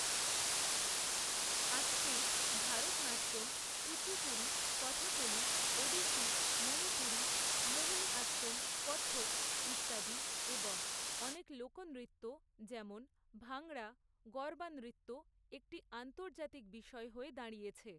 আজকে ভারতনাট্যম কুচিপুরি কথাকলি ওড়িশি মনিপুরী মোহনী আত্তম কথক ইত্যাদি এবং অনেক লোকনৃত্য যেমন ভাঙড়া গরবা নৃত্য একটি আন্তর্জাতিক বিষয় হয়ে দাঁড়িয়েছে।